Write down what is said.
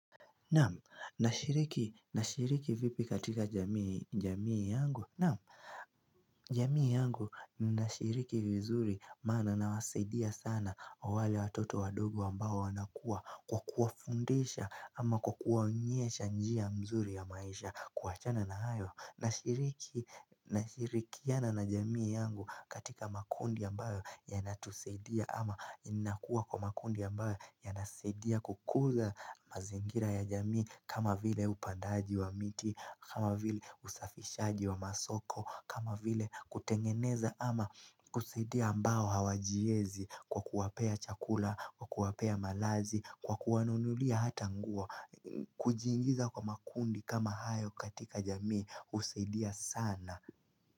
Naam, nashiriki nashiriki vipi katika jamii jamii yangu Naam, jamii yangu ninashiriki vizuri maana nawasaidia sana wale watoto wadogo ambayo wanakua kwa kuwafundisha ama kwa kuwaonyesha njia mzuri ya maisha kuachana na hayo Nashiriki, nashirikiana na jamii yangu katika makundi ambayo yanatusaidia ama inakua kwa makundi ambayo yanasidia kukuza mazingira ya jamii kama vile upandaji wa miti, kama vile usafishaji wa masoko, kama vile kutengeneza ama kusaidia ambayo hawajiezi kwa kuwapea chakula, kwa kuwapea malazi, kwa kuwanunulia hata ngua, kujiingiza kwa makundi kama hayo katika jamii usaidia sana.